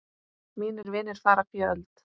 Mínir vinir fara fjöld.